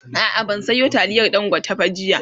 a'a ban Sayo taliyar dangote ba jiya